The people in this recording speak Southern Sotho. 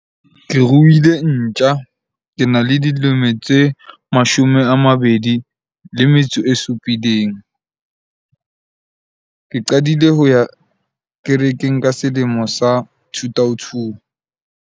Ke ruile ntja. Ke na le dilemo tse mashome a mabedi le metso e supileng. Ke qadile ho ya kerekeng ka selemo sa two two.